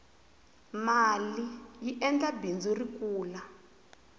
maliyi endla bindzu ri kula